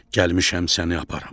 Gəlmişəm səni aparım.